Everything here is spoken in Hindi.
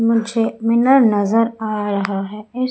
मुझे मीनर नजर आ रहा है इस--